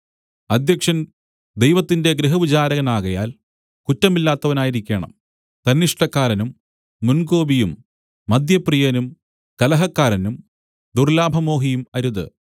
അദ്ധ്യക്ഷൻ ദൈവത്തിന്റെ ഗൃഹവിചാരകനാകയാൽ കുറ്റമില്ലാത്തവനായിരിക്കേണം തന്നിഷ്ടക്കാരനും മുൻകോപിയും മദ്യപ്രിയനും കലഹക്കാരനും ദുർല്ലാഭമോഹിയും അരുത്